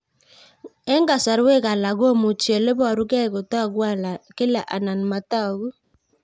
Eng' kasarwek alak komuchi ole parukei kotag'u kila anan matag'u